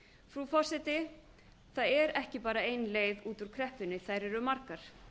frú forseti það er ekki bara ein leið út úr kreppunni þær eru margar